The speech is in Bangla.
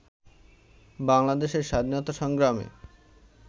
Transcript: বাংলাদেশের স্বাধীনতা সংগ্রামে